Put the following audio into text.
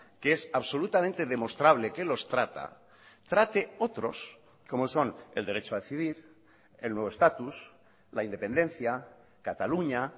que es absolutamente demostrable que los trata trate otros como son el derecho a decidir el nuevo estatus la independencia cataluña